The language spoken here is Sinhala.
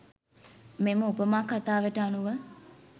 මෙම උපමා කථාවට අනුව